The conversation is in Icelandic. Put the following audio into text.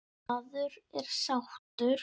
Maður er sáttur.